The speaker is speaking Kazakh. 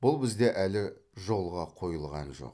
бұл бізде әлі жолға қойылған жоқ